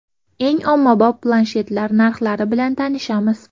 Eng ommabop planshetlar narxlari bilan tanishamiz.